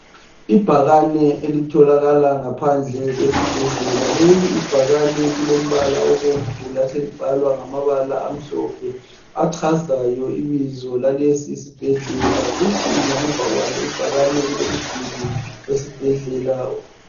Ibhakane elitholakala ngaphandle kwesibhedlela. Leli ibhakane lilombala obomvu laselibhalwa ngamabala amhlophe achazayo ibizo lalesisibhedlela Kuthi ngemuva kwalo ibhakane kulomduli wesibhedlela.